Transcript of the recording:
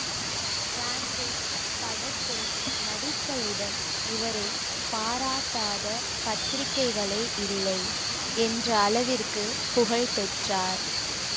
traffic படத்தில் நடித்தவுடன் இவரை பாராட்டாத பத்திரிகைகளே இல்லை என்ற அளவிற்கு புகழ்பெற்றார்